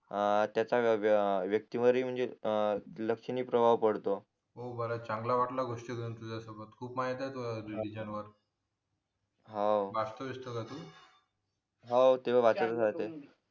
हा त्याच्या व्यक्ती वरही म्हणजे लक्षणीय प्रवाह पडतो हो बरं चांगला वाटला गोष्टी करून तुझ्यासोबत खूप माहिती तुला या विषयावर हाव वाचतो विचतो का तू हा त्या वाचत तच राहते